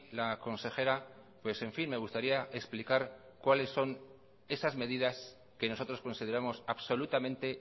la consejera pues en fin me gustaría explicar cuáles son esas medidas que nosotros consideramos absolutamente